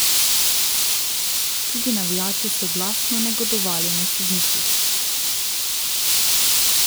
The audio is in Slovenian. Tudi navijači so glasno negodovali nad sodniki.